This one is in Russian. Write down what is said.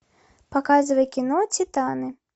показывай кино титаны